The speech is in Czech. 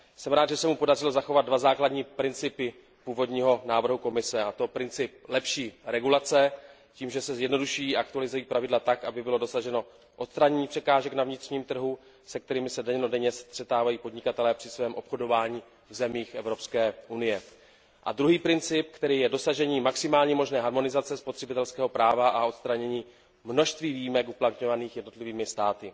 Jsem rád, že se mu podařilo zachovat dva základní principy původního návrhu Komise, a to princip lepší regulace tím, že se zjednoduší a aktualizují pravidla tak, aby bylo dosaženo odstranění překážek na vnitřním trhu, se kterými se dennodenně střetávají podnikatelé při svém obchodování v zemích Evropské unie, a druhý princip, kterým je dosažení maximální možné harmonizace spotřebitelského práva a odstranění množství výjimek uplatňovaných jednotlivými státy.